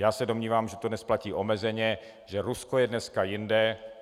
Já se domnívám, že to dnes platí omezeně, že Rusko je dneska jinde.